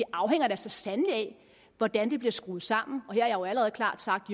afhænger da så sandelig af hvordan det bliver skruet sammen og her har jeg jo allerede klart sagt